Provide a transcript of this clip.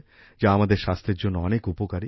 যা আমাদের স্বাস্থ্যের জন্য অনেক উপকারী